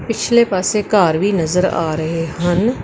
ਪਿਛਲੇ ਪਾਸੇ ਘਰ ਵੀ ਨਜ਼ਰ ਆ ਰਹੇ ਹਨ।